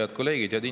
Head kolleegid!